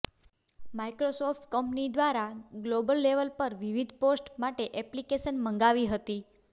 Microsoft company દ્વારા global level પર વિવિધ પોસ્ટ માટે એપ્લિકેશન મગાવી હતી